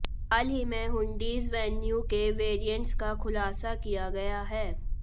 हाल ही में Hyundai Venue के वैरिएंट्स का खुलासा किया गया है